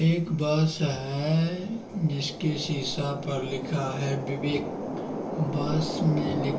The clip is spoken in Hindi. ये एक बस है जिसके शीशा पर लिखा है बिबेक बस मे----